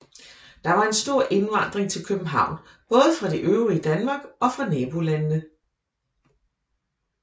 Der var en stor indvandring til København både fra det øvrige Danmark og fra nabolandene